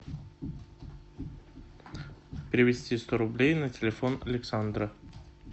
перевести сто рублей на телефон александра